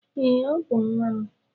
Ee, Ọ bú nwa m